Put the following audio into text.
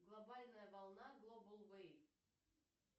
глобальная волна глобал вейв